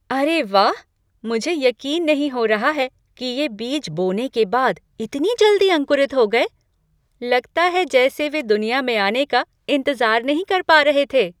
अरे वाह, मुझे यकीन नहीं हो रहा है कि ये बीज बोने के बाद इतनी जल्दी अंकुरित हो गए। लगता है जैसे वे दुनिया में आने का इंतजार नहीं कर पा रहे थे!